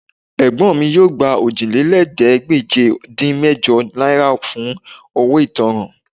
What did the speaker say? Ẹ̀gbọ́n mi yóò gba Òjìlélẹ́ẹ̀ẹ́dégbèje-dín-mẹ́jọ náírà fún owó ìtanràn